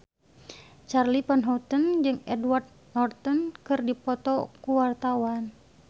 Charly Van Houten jeung Edward Norton keur dipoto ku wartawan